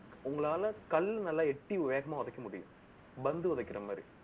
உங்களால கல் நல்லா எட்டி வேகமா உதைக்க முடியும். பந்து உதைக்கிற மாதிரி